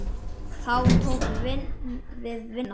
Þá tók við vinna.